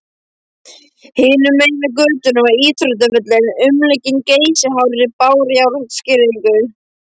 Hinum megin við götuna var íþróttavöllurinn, umlukinn geysihárri bárujárnsgirðingu.